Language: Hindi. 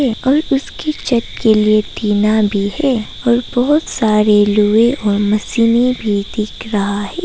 और उसकी छत के लिए टीना भी है और बहोत सारे लोहे और मशीने भी दिख रहा है।